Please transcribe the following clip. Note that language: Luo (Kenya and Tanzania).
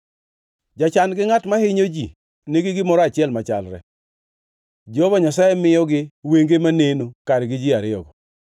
Jachan gi ngʼat mahinyo ji nigi gimoro achiel machalre: Jehova Nyasaye miyogi wenge maneno kargi ji ariyogo.